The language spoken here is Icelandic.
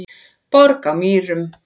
Borg á Mýrum